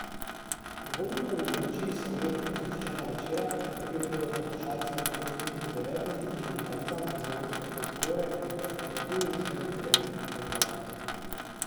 V Vodnikovi domačiji se obetata zgoščena večera, v katerih bodo poslušalci lahko prisluhnili devetim čudežnim pravljicam iz evropske folklore v performativni izvedbi devetih pripovedovalcev.